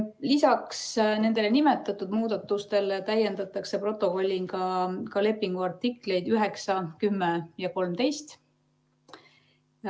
Lisaks nimetatud muudatustele täiendatakse protokolliga lepingu artikleid 9, 10 ja 13.